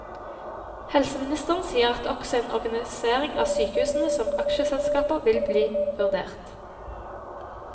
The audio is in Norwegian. Helseministeren sier at også en organisering av sykehusene som aksjeselskaper vil bli vurdert.